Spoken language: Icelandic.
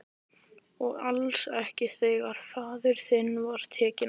Og alls ekki þegar faðir þinn var tekinn af.